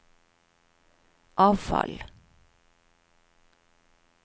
avfall